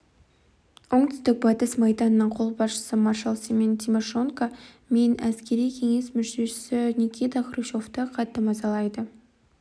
оңтүстік батыс майданының қолбасшысы маршал семен тимошенко мен әскери кеңес мүшесі никита хрущевты қатты мазалайды